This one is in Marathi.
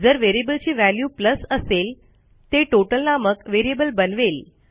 जर व्हेरिएबलची व्हॅल्यू असेल ते टोटल नामक व्हेरिएबल बनवेल